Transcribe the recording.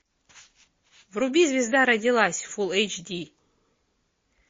вруби звезда родилась фул эйч ди